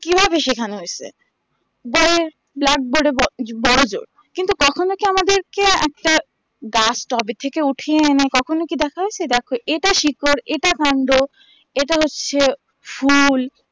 কিভাবে শিখানো হয়েছে যেমন বড়োজোর কিন্তু কখনো কি আমাদের কে একটা গাছ tub থেকে ওঠে আমা কখনো কি দেখা হয়েছে দেখো এটা শিকড় এটা কন্ড এটা হচ্ছে ফুল